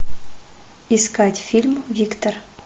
искать фильм виктор